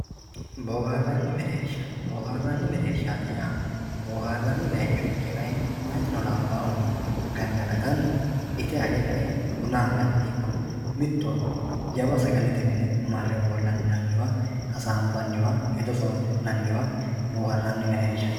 boohaarranni mereersha, booharranni mereershaati yaa booharranni bayiichira mayiitino labbahuno gangalatanni ite age kae buna anganniwa ikko mittowa jawa sagalete mine mare ofolli'ne hasaabbanniwa hedo soori'nanniwa booharranni mereersha yinannni